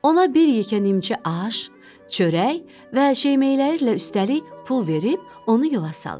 Ona bir yekə nimçə aş, çörək və şeymeylərlə üstəlik pul verib onu yola salır.